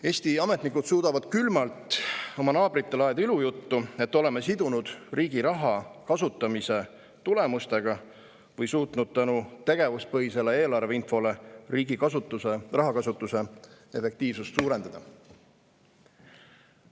Eesti ametnikud suudavad külmalt oma naabritele ajada ilujuttu, et oleme sidunud riigi raha kasutamise tulemustega või suutnud tänu tegevuspõhisele eelarveinfole riigi rahakasutuse efektiivsust suurendada.